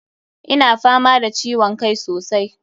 Ina fama da ciwon kai sosai.